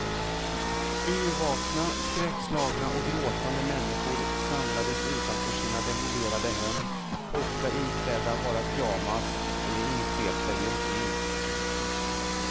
Yrvakna, skräckslagna och gråtande människor samlades utanför sina demolerade hem, ofta iklädda bara pyjamas eller insvepta i en filt.